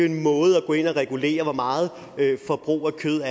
en måde at gå ind at regulere hvor meget forbrug af kød